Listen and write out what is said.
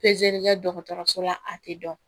kɛ dɔgɔtɔrɔso la a tɛ dɔn